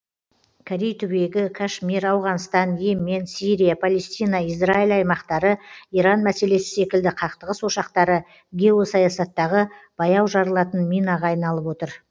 корей түбегі кашмир ауғанстан и емен сирия палестина израиль аймақтары иран мәселесі секілді қақтығыс ошақтары геосаясаттағы баяу жарылатын минаға айналып отыр